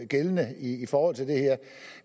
gældende i forhold til det her